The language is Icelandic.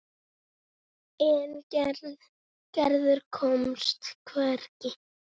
En Gerður komst hvergi.